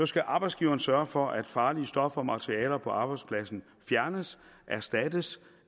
skal arbejdsgiveren sørge for at farlige stoffer og materialer på arbejdspladsen fjernes erstattes